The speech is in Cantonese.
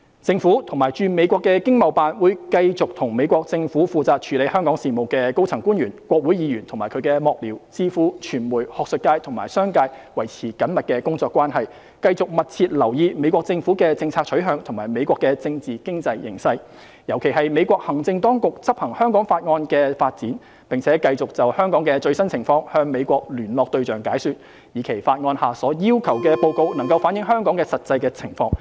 政府及駐美國的經貿辦會繼續與美國政府負責處理香港事務的高層官員、國會議員及其幕僚、智庫、傳媒、學術界及商界維持緊密工作關係，繼續密切留意美國政府的政策取向和美國的政治經濟形勢，尤其是美國行政當局執行《香港法案》的發展，並繼續就香港的最新情況向美國聯絡對象解說，以期法案下所要求的報告能反映香港實際的情況。